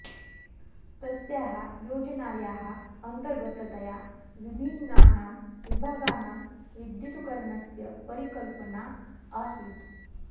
तस्याः योजनायाः अन्तर्गततया विभिन्नानां विभागानां विद्युतीकरणस्य परिकल्पना आसीत्